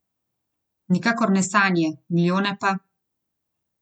Nikakor ne sanje, milijone pa.